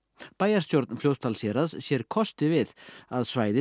bæjarstjórn Fljótsdalshéraðs sér kosti við að svæðið